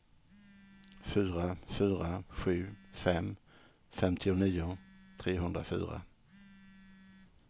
fyra fyra sju fem femtionio trehundrafyra